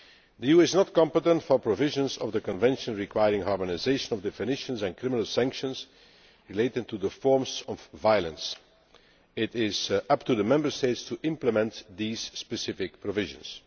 The EU is not competent for provisions of the Convention requiring harmonisation of definitions and criminal sanctions relating to the forms of violence. It is up to the Member States to implement these specific provisions.